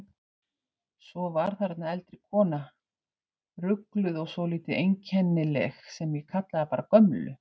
Svo var þarna eldri kona, rugluð og svolítið einkennileg, sem ég kallaði bara gömlu.